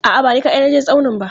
A'a, ba ni kaɗai na je tsaunin ba.